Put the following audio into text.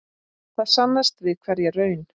Það sannast við hverja raun.